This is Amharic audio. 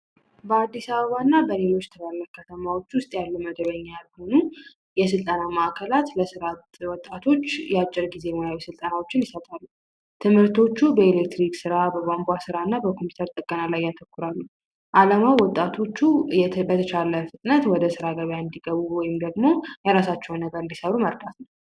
በአዲስ አበባና በሌሎች ትላልቅ ከተሞች ውስጥ ያሉ መደበኛ ያልሆኑ የስልጠና ማእከላት ለወጣቶች አጭር ጊዜ የሙያዊ ስልጠና ይሰጣሉ። ትምህርቶቹ በኤሌክትሪክ ስራ ቧንቧ ስራና በኮምፒውተር ጥገና ላይ ያተኮራሉ አላማው ወጣቶቹ በተቻለ ፍጥነት ወደ ስራ ገበያ እንዲገቡ ወይም ደግሞ የራሳቸውን ነገር እንዲሰሩ ይመርጣል።